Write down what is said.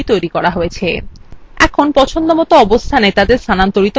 এখন তাদের পছন্দসই অবস্থানে স্থানান্তরিত করা যাক